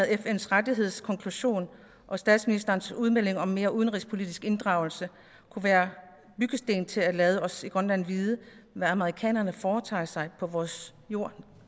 fns rettighedskonklusion og statsministerens udmelding om mere udenrigspolitisk inddragelse kunne være byggesten til at lade os i grønland vide hvad amerikanerne foretager sig på vores jord